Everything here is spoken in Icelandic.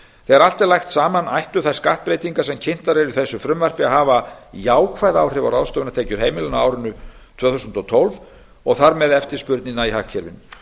þegar allt er lagt saman ættu þær skattbreytingar sem kynntar eru í þessu frumvarpi að hafa jákvæð áhrif á ráðstöfunartekjur heimilanna á árinu tvö þúsund og tólf og þar með eftirspurnina í hagkerfinu